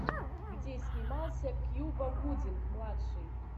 где снимался кьюба гудинг младший